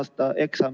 Austatud minister!